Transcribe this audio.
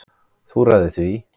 Þú ræður því.